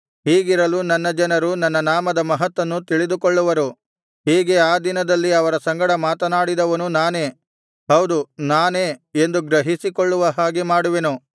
ಹೀಗಿರಲು ನನ್ನ ಜನರು ನನ್ನ ನಾಮದ ಮಹತ್ತನ್ನು ತಿಳಿದುಕೊಳ್ಳುವರು ಹೀಗೆ ಆ ದಿನದಲ್ಲಿ ಅವರ ಸಂಗಡ ಮಾತನಾಡಿದವನು ನಾನೇ ಹೌದು ನಾನೇ ಎಂದು ಗ್ರಹಿಸಿಕೊಳ್ಳುವ ಹಾಗೆ ಮಾಡುವೆನು